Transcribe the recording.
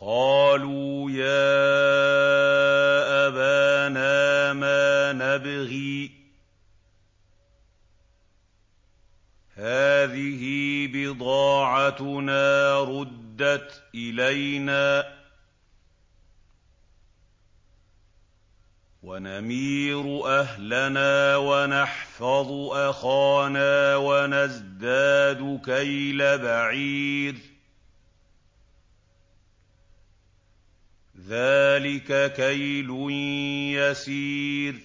قَالُوا يَا أَبَانَا مَا نَبْغِي ۖ هَٰذِهِ بِضَاعَتُنَا رُدَّتْ إِلَيْنَا ۖ وَنَمِيرُ أَهْلَنَا وَنَحْفَظُ أَخَانَا وَنَزْدَادُ كَيْلَ بَعِيرٍ ۖ ذَٰلِكَ كَيْلٌ يَسِيرٌ